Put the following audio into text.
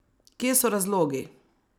Kje so razlogi?